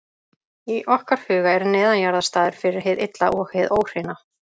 Í okkar huga er neðanjarðar staður fyrir hið illa og hið óhreina.